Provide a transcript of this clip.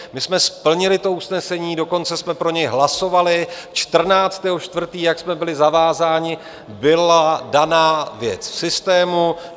My jsme splnili usnesení, dokonce jsme pro něj hlasovali, 14. 4., jak jsme byli zavázáni, byla daná věc v systému.